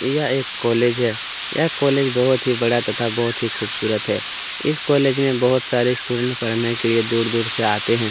यह एक कोलेज है यह कोलेज बहुत ही बड़ा तथा बहुत ही खूबसूरत है इस कोलेज में बहुत से स्टूडेंट दूर दूर से पढ़ने के लिए आते है।